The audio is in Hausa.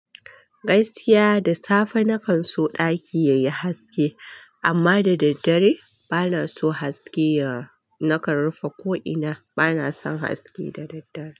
Gaskiya da safe na kan so ɗaki yayi haske, amma da daddare bana son haske. Nakan rufe ko ina bana son haske da daddare.